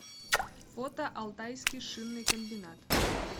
фото алтайский шинный комбинат